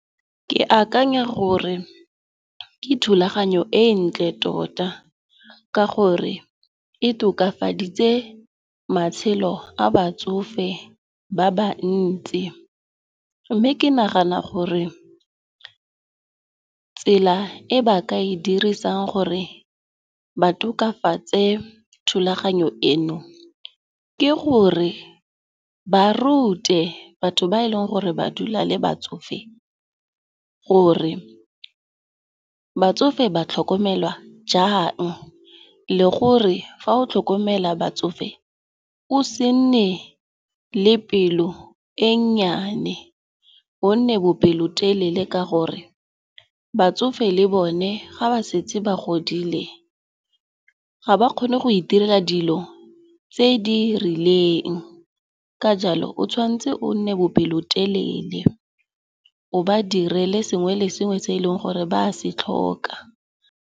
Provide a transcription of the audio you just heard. Ke akanya gore ke thulaganyo e e ntle tota ka gore e tokafaditse matshelo a batsofe ba ba ntsi. Mme ke nagana gore tsela e ba ka e dirisang gore ba tokafatse thulaganyo eno, ke gore ba rute batho ba e leng gore ba dula le batsofe gore batsofe ba tlhokomelwa jang. Le gore, fa o tlhokomela batsofe o se nne le pelo e nnyane go nne bopelotelele ka gore batsofe le bone ga ba setse ba godile ga ba kgone go itirela dilo tse di rileng. Ka jalo, o tshwantse o nne bopelotelele, o ba direle sengwe le sengwe se e leng gore ba se tlhoka.